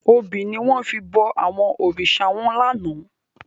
Óbi niwòn fi bò àwòn órisá wán làná